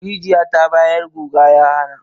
Rijiya ta bayar guga ya hana.